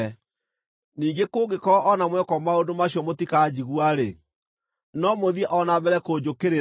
“ ‘Ningĩ kũngĩkorwo o na mwekwo maũndũ macio mũtikanjigua-rĩ, no mũthiĩ o na mbere kũnjũkĩrĩra,